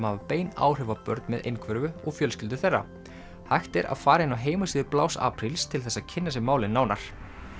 hafa bein áhrif á börn með einhverfu og fjölskyldur þeirra hægt er að fara inn á heimasíðu apríl til þess að kynna sér málið nánar